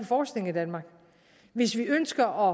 forskning i danmark hvis vi ønsker